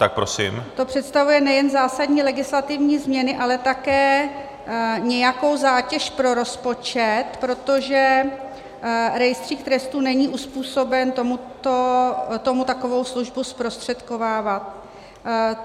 To představuje nejen zásadní legislativní změny, ale také nějakou zátěž pro rozpočet, protože rejstřík trestů není uzpůsoben tomu takovou službu zprostředkovávat.